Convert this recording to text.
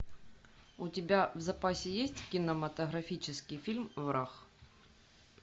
у тебя в запасе есть кинематографический фильм враг